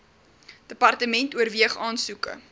department oorweeg aansoeke